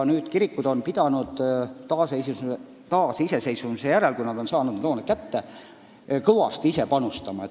Kogudused on pidanud taasiseseisvumise järel, kui nad need hooned kätte said, kõvasti ise panustama.